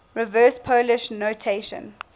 reverse polish notation